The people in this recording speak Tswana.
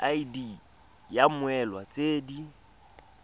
id ya mmoelwa tse di